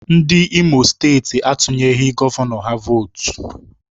Ndị Imo steeti atunyeghị gọvanọ ha vootu